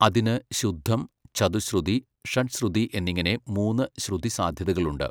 അതിന് ശുദ്ധം, ചതുശ്രുതി, ഷഡ്ശ്രുതി എന്നിങ്ങനെ മൂന്ന് ശ്രുതിസാധ്യതകളുണ്ട്.